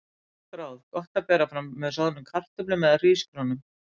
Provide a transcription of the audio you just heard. Gott ráð: Gott að bera fram með soðnum kartöflum eða hrísgrjónum.